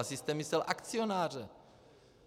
Asi jste myslel akcionáře.